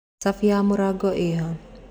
Cabi ya mũrango ĩha